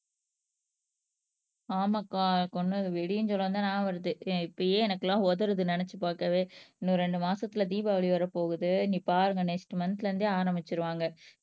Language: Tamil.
ஆமாக்கா கொன்னது வெடின்னு சொல்லவும் தான் ஞாபகம் வருது இப்பயே எனக்கெல்லாம் உதறுது நினைச்சு பார்க்கவே இன்னும் ரெண்டு மாசத்துல தீபாவளி வரப்போகுது நீ பாருங்க நெக்ஸ்ட் மந்த்ல இருந்தே ஆரம்பிச்சிருவாங்க